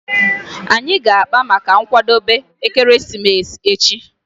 Anyị ga-akpa maka nkwadebe ekeresimesi echi